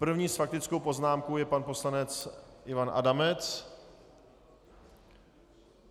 První s faktickou poznámkou je pan poslanec Ivan Adamec.